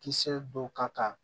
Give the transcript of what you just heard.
Kisɛ dɔw ka kan